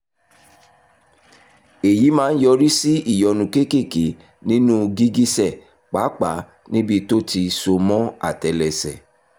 èyí máa ń yọrí sí ìyọnu kéékèèké nínú gìgísẹ̀ pàápàá níbi tó ti so mọ́ àtẹ́lẹsẹ̀